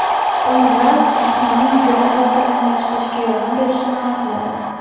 Olimlar jismoniy yuklama xotirani yaxshilashga yordam berishini aniqladi.